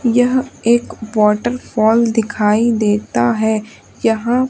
यह एक वॉटरफॉल दिखाई देता है यहां--